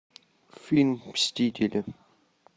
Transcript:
фильм мстители